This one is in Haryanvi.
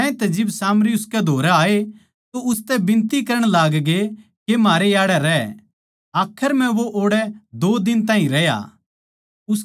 ज्यांतै जिब सामरी उसकै धोरै आए तो उसतै बिनती करण लागगे के म्हारै याड़ै रै आखर म्ह वो ओड़ै दो दिन ताहीं रहया